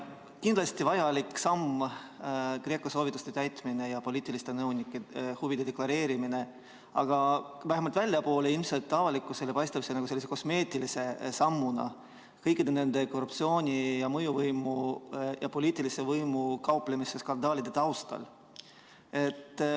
See on kindlasti vajalik samm – GRECO soovituste täitmine ja poliitiliste nõunike huvide deklareerimine –, aga vähemalt väljapoole, avalikkusele paistab see sellise kosmeetilise sammuna kõikide nende korruptsioonijuhtumite ning mõjuvõimu ja poliitilise võimuga kauplemise skandaalide taustal.